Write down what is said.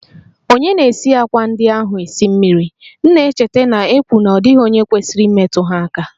Ònye na-esi àkwá ndị ahụ esi mmiri? M na-echeta na-ekwu na ọ dịghị onye kwesịrị imetụ ha aka